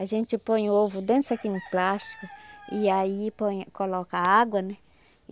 A gente põe o ovo dentro de um saquinho plástico e aí põe coloca água, né?